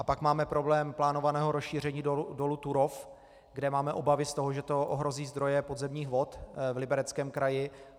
A pak máme problém plánovaného rozšíření dolu Turów, kde máme obavy z toho, že to ohrozí zdroje podzemních vod v Libereckém kraji.